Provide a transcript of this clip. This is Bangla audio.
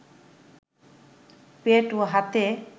পেট ও হাতে